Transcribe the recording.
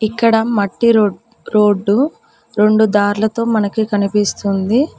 ఇక్కడ మట్టి రోడ్డు రెండు దార్లతో మనకి కనిపిస్తుంది.